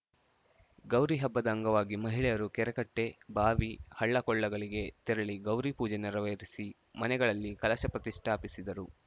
ಗೌರಿ ಹಬ್ಬದ ಅಂಗವಾಗಿ ಮಹಿಳೆಯರು ಕೆರೆಕಟ್ಟೆ ಬಾವಿ ಹಳ್ಳಕೊಳ್ಳಗಳಿಗೆ ತೆರಳಿ ಗೌರಿ ಪೂಜೆ ನೆರವೇರಿಸಿ ಮನೆಗಳಲ್ಲಿ ಕಲಶ ಪ್ರತಿಷ್ಠಾಪಿಸಿದರು